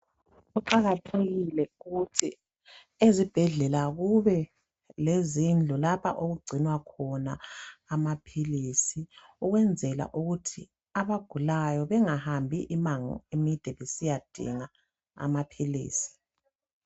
Kuqakathekile ukuthi ezibhedlela kube lezindlu lapha okugcinwa khona amaphilisi ukwenzela ukuthi abagulayo bengahambi imango emide besiyadinga amaphilisi.